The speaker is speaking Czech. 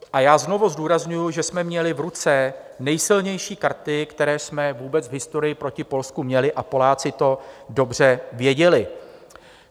A já znovu zdůrazňuji, že jsme měli v ruce nejsilnější karty, které jsme vůbec v historii proti Polsku měli, a Poláci to dobře věděli.